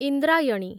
Indrayani